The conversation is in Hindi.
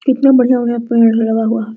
कितना बढ़िया-बढ़िया पेड़ है लगा हुआ है।